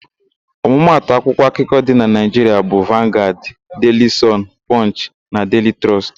Ọmụmatụ akwụkwọ akụkọ dị na Naịjiria bụ: Vangaad, Deili Sọn, Pọnchị na Deili Trọst.